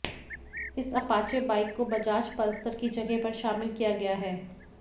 इस Apache bike को Bajaj Pulsar की जगह पर शामिल किया गया है